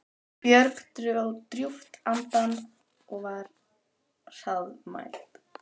Björg dró djúpt andann og var hraðmælt